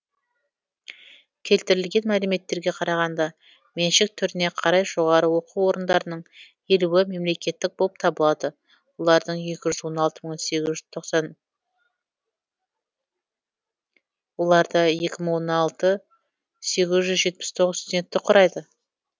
келтірілген мәліметтерге қарағанда меншік түріне қарай жоғары оқу орындарының елуі мемлекеттік болып табылады оларда екі мың он алты сегіз жүз жетпіс тоғыз студентті құрайды